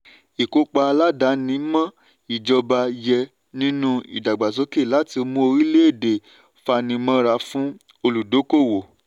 ìkópa aládàáni-mọ́-ìjọba yẹ nínú ìdàgbàsókè láti mú orílẹ̀-èdè fanimọ́ra fún olùdókòwò.